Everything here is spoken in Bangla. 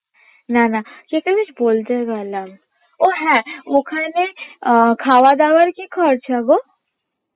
না না কি একটা বেশ বলতে গেলাম ও হ্যাঁ ওখানে আহ খাওয়া দাওয়ার কি খরচা গো